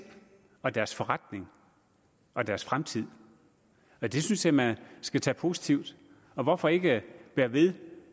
og deres forretning og deres fremtid det synes jeg man skal tage positivt og hvorfor ikke bære ved